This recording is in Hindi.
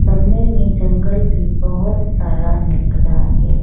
सामने में जंगल भी बहोत सारा निकला है।